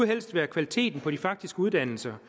helst være kvaliteten på de faktiske uddannelser